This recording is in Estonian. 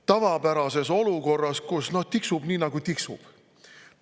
– tavapärases olukorras, kus tiksub nii nagu tiksub.